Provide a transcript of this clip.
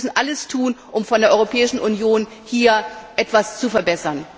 Wir müssen alles tun, um von der Europäischen Union aus hier etwas zu verbessern.